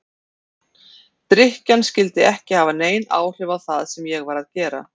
Drykkjan skyldi ekki hafa nein áhrif á það sem ég var að gera.